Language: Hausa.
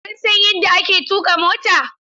Kun san yadda ake tuƙa mota?